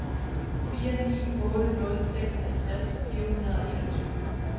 fire ni otte nul seksoghalvtreds fire hundrede og enogtyve